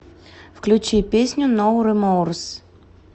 включи песню ноу реморс